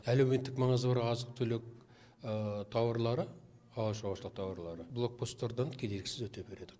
әлеуметтік маңызы бар азық түлік тауарлары ауыл шаруашылығы тауарлары блок посттардан кедергісіз өте береді